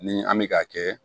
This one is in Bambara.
Ni an bɛ ka kɛ